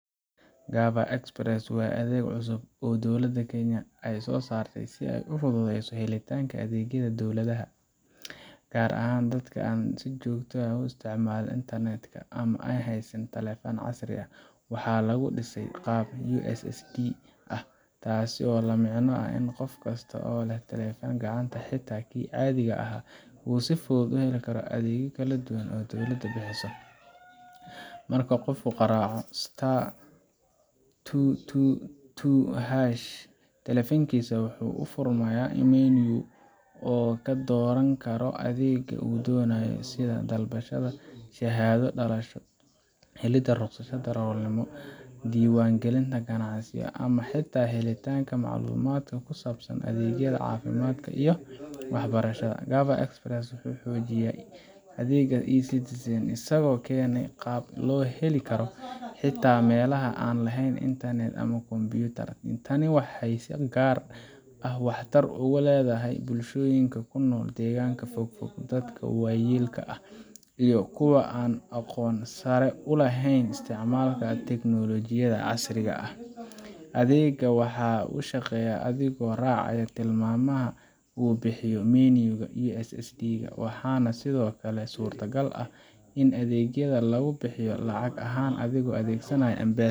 Gava Express waa adeeg cusub oo dowladda Kenya ay soo saartay si ay u fududeyso helitaanka adeegyada dowladda, gaar ahaan dadka aan si joogto ah u isticmaalin internet ka ama aan haysan taleefan casri ah. Waxaa lagu dhisay qaab USSD ah, taasoo la micno ah in qof kasta oo leh taleefan gacanta, xitaa kii caadiga ahaa, uu si fudud u heli karo adeegyo kala duwan oo dowladda bixiso. Marka qofku garaaco star two two two harsh taleefankiisa, waxaa u furmaya menu uu ka dooran karo adeegga uu doonayo, sida dalbashada shahaado dhalasho, helidda rukhsadda darawalnimo, diiwaangelinta ganacsiyo, ama xitaa helitaanka macluumaad ku saabsan adeegyada caafimaadka iyo waxbarashada. Gava Express wuxuu xoojinayaa adeegga eCitizen, isagoo keenaya qaab loo heli karo xitaa meelaha aan lahayn internet ama kombiyuutar. Tani waxay si gaar ah waxtar ugu leedahay bulshooyinka ku nool deegaannada fogfog, dadka waayeelka ah, iyo kuwa aan aqoon sare u lahayn isticmaalka tiknoolajiyadda casriga ah. Adeegga waxa uu shaqeeyaa adigoo raacaya tilmaamaha uu bixiyo menu ga iyo USSD ka, waxaana sidoo kale suuragal ah in adeegyada lagu bixiyo lacag ahaan adigoo adeegsanaya M-Pesa